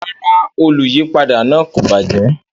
Rara, oluyipada naa ko bajẹ